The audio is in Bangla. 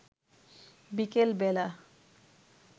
বিকেল বেলা